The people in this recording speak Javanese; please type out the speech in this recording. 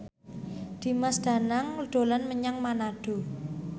Dimas Danang dolan menyang Manado